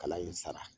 Kalan in sara